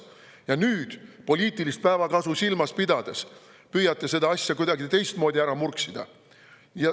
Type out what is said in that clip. Ja nüüd, poliitilist päevakasu silmas pidades, püüate seda asja kuidagi teistmoodi ära murksida.